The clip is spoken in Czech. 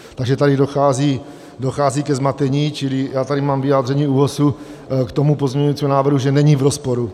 Takže tady dochází ke zmatení, čili já tady mám vyjádření ÚOHS k tomu pozměňovacímu návrhu, že není v rozporu.